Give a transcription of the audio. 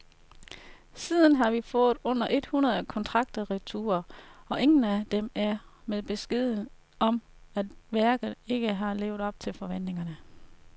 Siden har vi fået under et hundrede kontrakter retur, og ingen af dem er med beskeden om, at værket ikke har levet op til forventningerne.